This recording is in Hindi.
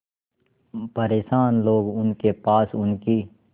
परेशान लोग उनके पास उनकी